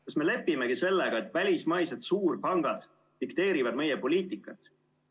Kas me lepimegi sellega, et välismaised suurpangad dikteerivad meie poliitikat?